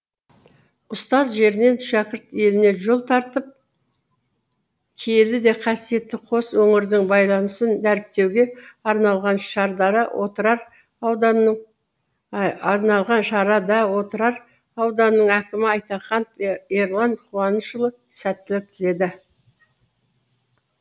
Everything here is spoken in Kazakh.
ұстаз жерінен шәкірт еліне жол тартып киелі де қасиетті қос өңірдің байланысын дәріптеуге арналған шарада отырар ауданының әкімі айтаханов ерлан қуанышұлы сәттілік тіледі